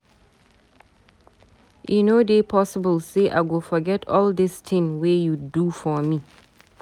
E no dey possible sey I go forget all dis tin wey you do for me.